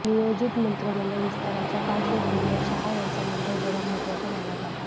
नियोजित मंत्रिमंडळ विस्ताराच्या पार्श्वभूमीवर शहा यांचा मुंबई दौरा महत्त्वाचा मानला जात आहे